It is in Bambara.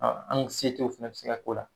A ankusetew fɛnɛ be se ka k'o la